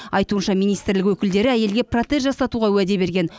айтуынша министрлік өкілдері әйелге протез жасатуға уәде берген